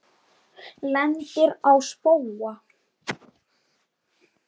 Lendir á spóa.